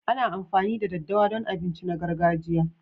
Ana amfani da ɗaddawa don abinci na gargajiya.